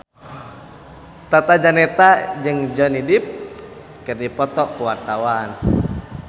Tata Janeta jeung Johnny Depp keur dipoto ku wartawan